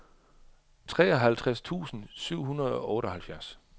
treoghalvtreds tusind syv hundrede og otteoghalvfjerds